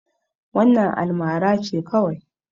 Wannan almara ce kawai.